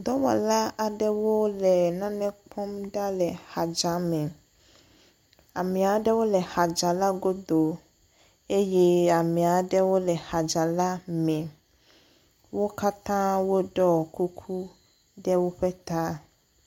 Dɔwɔla aɖewole nane kpɔm ɖa le xadza me. Ame aɖewo le xadza la godo eye amea ɖewo le xadza la me . Wo katã woɖɔ kuku ɖe woƒe ta.